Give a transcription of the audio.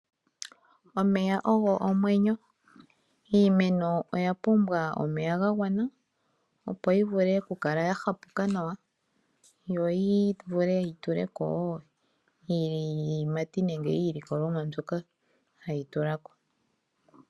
Omeya ogo omwenyo. Iimeno oya pumbwa omeya ga gwana opo yi vule oku kala ya hapuka nawa, yo yi tuleko woo iiyimati nenge iilikolomwa mbyoka ha yi tulako.